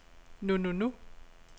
nu nu nu